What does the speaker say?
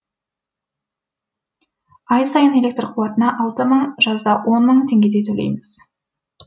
ай сайын электр қуатына алты мың жазда он мың теңгедей төлейміз